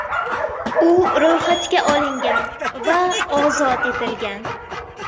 U ro‘yxatga olingan va ozod etilgan.